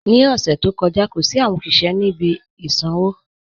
Ní ọṣẹ̀ tó kọja, kò sí awọn ọṣiṣẹ̀ ni ibi ìsànwo